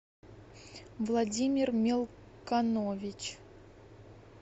владимир мелконович